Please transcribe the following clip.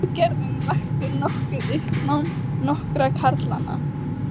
Aðgerðin vakti nokkuð uppnám nokkurra karlanna